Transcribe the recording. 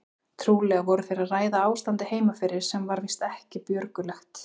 Trúlega voru þeir að ræða ástandið heima fyrir sem var víst ekki björgulegt.